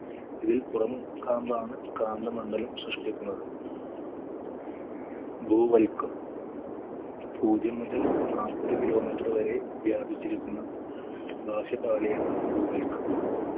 ഇതിൽ പുറം കാമ്പാണ് കാന്ത മണ്ഡലം സൃഷ്ട്ടിക്കുന്നത് ഭൂവൽക്കം പൂജ്യം മുതൽ നാൽപത്‌ kilometer വരെ വ്യാപിച്ചിരിക്കുന്ന ബാഹ്യ പാളിയാണ് ഭൂവൽക്കം